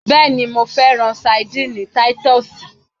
Bẹẹni, Mo fẹran Sardines Titus